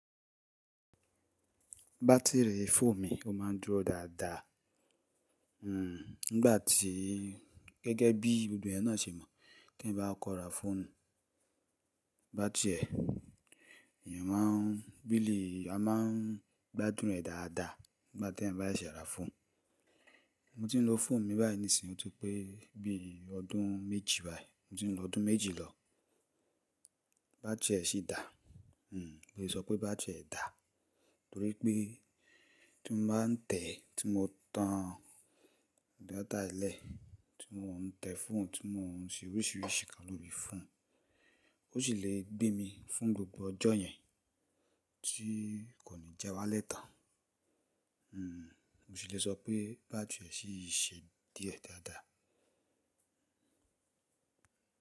Batiri fóònù mi a máa dúró dáadáa. Hmm, nígbà tí gẹ́gẹ́ bí gbogbo ènìyàn náà ṣe mọ̀ kí n bá kọra fóònù, bátìrì ẹ̀, ènìyàn máa n bí lè, a máa n gbádùn rẹ̀ dáadáa nígbàtí ẹ́ bá ṣẹ́ra fóònù. Mo ti n lo fóònù mi báyìí nísinsìnyí oti pé bí ọdún méjì báyìí, mo ti n lo ọdún méjì lọ, bátìrì ẹ́ ṣì dá. Hmm, jè so pé bátìrì ẹ́ dà torí pé tí mo bá n tẹ̀, tí mo tan data lẹ̀, tí mo n tẹ fóònù, tí mo n ṣe oríṣìíríṣìí nkan lori fon, ó ṣì lè gbé mi fún gbogbo ọjọ́ yẹn tí kò ní jẹ́ wá léta. Hmm, mo ṣì lè sọ pé bátìrì ẹ́ ṣì ṣe díẹ̀ dáadáa.